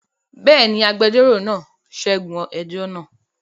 Bẹ́ẹ̀ ni, agbẹjọ́rò náà ṣẹ́gun ẹjọ́ náà.